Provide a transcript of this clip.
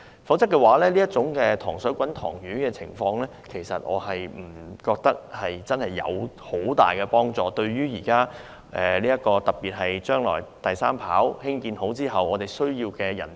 否則，我認為這種"塘水滾塘魚"的做法對行業不會有很大幫助，特別是將來興建第三跑道後，我們難以覓得需要的人才。